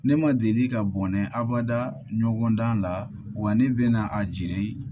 Ne ma deli ka bɔnɛ abada ɲɔgɔn dan la wa ne bɛna a jiri